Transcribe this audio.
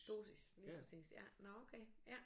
Dosis lige præcis nå okay ja